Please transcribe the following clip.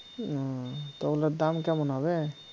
তা ওগুলার দাম কেমন হবে